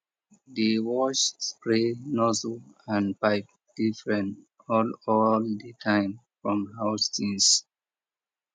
dey wash spray nozzle and pipe different all all the time from house things